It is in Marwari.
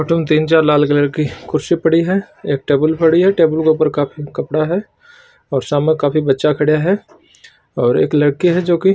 अटीने तीन चार लाल कलर की कुर्सियां पड़ी है एक टेबल पड़ी है टेबल के ऊपर काफी कपड़ा है और सामे काफी बच्चा खड्या है और एक लड़की है जोकि--